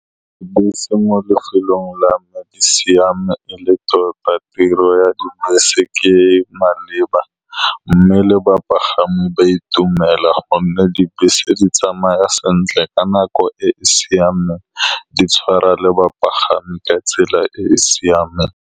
Bese mo lefelong la me e siame e le tota. Tiro ya dibese ke e e maleba, mme le bapagami ba itumela ka gonne dibese di tsamaya sentle ka nako e e siameng, di tshwara le bapagami ka tsela e e siameng.